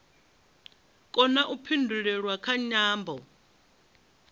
kona u pindulelwa kha nyambo